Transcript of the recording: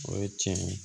O ye tiɲɛ ye